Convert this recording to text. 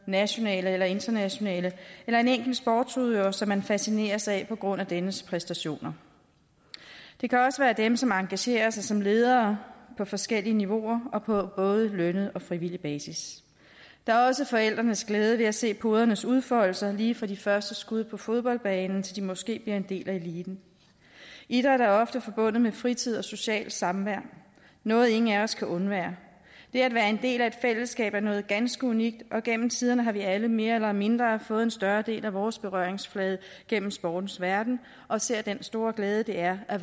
nationale eller internationale eller en enkelt sportsudøver som man fascineres af på grund af dennes præstationer det kan også være dem som engagerer sig som ledere på forskellige niveauer og på både lønnet og frivillig basis der er også forældrenes glæde ved at se podernes udfoldelser lige fra de første skud på fodboldbanen til de måske bliver en del af eliten idræt er ofte forbundet med fritid og socialt samvær noget ingen af os kan undvære det at være en del af et fællesskab er noget ganske unikt og gennem tiderne har vi alle mere eller mindre fået en større del af vores berøringsflade gennem sportens verden og ser den store glæde det er at